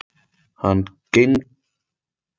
Hann gegnir nú nafninu Glenn.